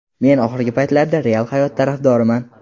Men oxirgi paytlarda real hayot tarafdoriman.